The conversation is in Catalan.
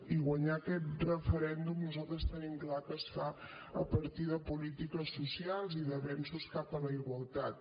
i guanyar aquest referèndum nosaltres tenim clar que es fa a partir de polítiques socials i d’avenços cap a la igualtat